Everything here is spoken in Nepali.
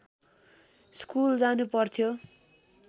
स्कुल जानु पर्थ्यो